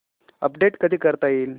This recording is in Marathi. अपडेट कधी करता येईल